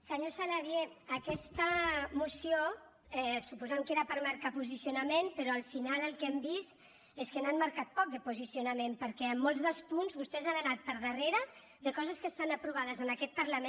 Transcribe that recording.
senyor saladié aquesta moció suposem que era per marcar posicionament però al final el que hem vist és que n’han marcat poc de posicionament perquè en molts dels punts vostès han anat per darrere de coses que estan aprovades en aquest parlament